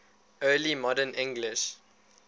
early modern english